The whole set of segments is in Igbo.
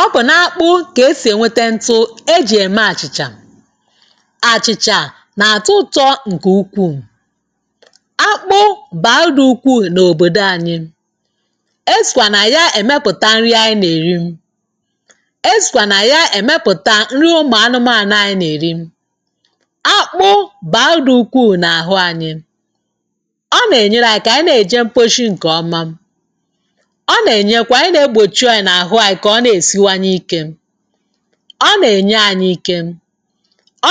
Ọ bụ n’akpụ ka esi enweta ntụ e ji eme achịcha. Achịcha na-atọ ụtọ nke ukwuu. Akpụ bara uru dị ukwuu n’obodo anyị. E sikwa na ya emepụta nri ụmụ anụmanụ anyị na-eri. Akpụ bara uru dị ukwuu n’ahụ anyị. ọ na-enyere anyị aka ka anyị na-eje mposhi nke ọma. Ọ na-emekwa ị na-egbochi anyị n’ahụ anyị ka ọ na-esiwanye ike. Ọ na-enye anyị ike.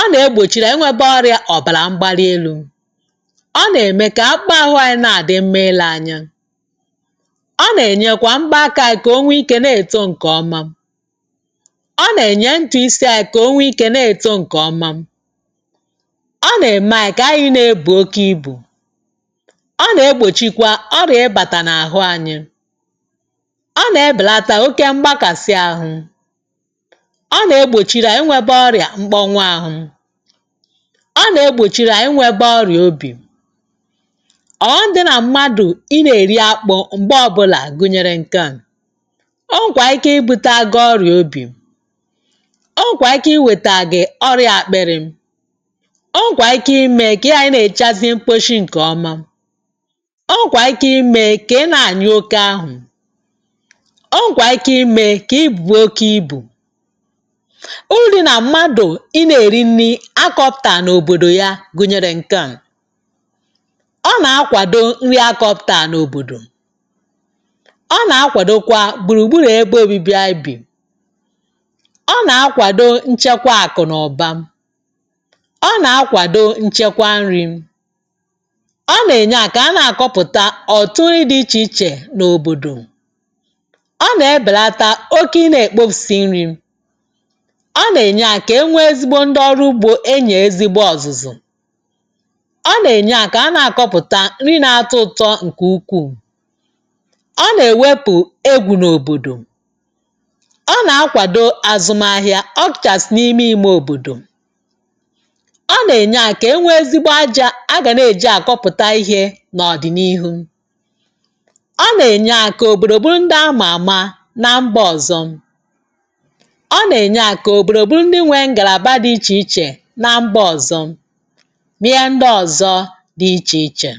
Ọ na-egbochiri anyị ịnwebe ọrịa ọbara mgbali elu. Ọ na-eme ka akpụkpọ ahụ anyị na-adị mma ile anya. Ọ na-emekwa mbọ aka anyị ka o nwee ike na-eto nke ọma. Ọ na-eme ntutu isi anyị ka o nwee ike na-eto nke ọma. Ọ na-eme anyị ka anyị na-ebu oke ibu. ọ na-egbochikwa ọrịa ịbata n’ahụ anyị. Ọ na-ebelata oke mgbakasị ahụ. Ọ na-egbochiri anyị inwe ọrịa mkpọnwụ ahụ. Ọ na-egbochikwa inwebe ọrịa obi. Ọghọm dị na mmadụ ị na-eri akpụ mgbe ọbụla gụnyere nke a; o nwekwara ike ibutere gị ọrịa obi. O nwekwara ike iwetara gị ọrịa akpịrị.. O nwere ike ime ka ị ghara ị na-ejechazi mkposhi nke ọma. O nwekwara ike ime ka ị na-anyụ oke ahụ. O nwekwa ike ime ka i buo oke ibu. Uru dị na mmadụ ị na-eri nri akọpụtara n’obodo ya gụnyere nke a; ọ na-akwado nri a kọpụtara n’obodo. Ọ na-akwadokwa gburu gburu ebe obibi anyị bi. Ọ na-akwado nchekwa akụ na ụba. Ọ na-akwado nchekwa nri. Ọ na-eme anyị ka a na-akọpụta ọtụtụ nri dị iche iche n’obodo. Ọ na-ebelata oke ị na-ekpofusi nri. Ọ na-eme anyị ka e nwee ezigbo ndị ọrụ ugbo enyere ezigbo ọzụzụ.Ọ na-eme anyị ka a na-akọpụta nri na-atọ ụtọ nke ukwuu. Ọ na ewepụkwa egwu n’obodo. Ọ na-akwadokwa azụmahịa ọ kachasị n’ime ime obodo. Ọ na-enye aka ka e nwee ezigbo aja a ga na-eje akọpụta ihe na ọdịnihu.Ọ na-enyekwa aka ka obodo bụrụ ndị a ma ama na mba ọzọ. Ọ na-enye aka ka obodo bụrụ ndị nwere ngalaba dị iche iche na mba ọzọ na ihe ndị ọzọ dị iche iche.